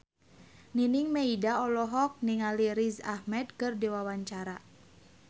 Nining Meida olohok ningali Riz Ahmed keur diwawancara